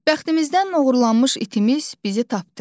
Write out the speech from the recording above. Bəxtimizdən oğurlanmış itimiz bizi tapdı.